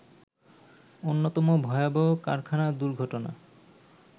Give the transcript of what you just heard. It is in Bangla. অন্যতম ভয়াবহ কারখানা দুর্ঘটনা